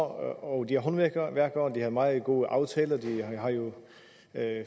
og det er håndværkere og de har meget gode aftaler de har jo